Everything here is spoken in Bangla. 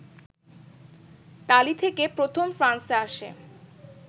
তালী থেকে প্রথম ফ্রান্সে আসে